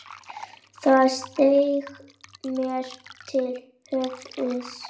Það steig mér til höfuðs.